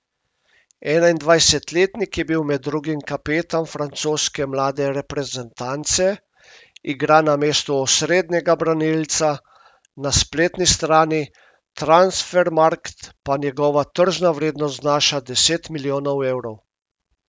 Enaindvajsetletnik je bil med drugim kapetan francoske mlade reprezentance, igra na mestu osrednjega branilca, na spletni strani Transfermarkt pa njegova tržna vrednost znaša deset milijonov evrov.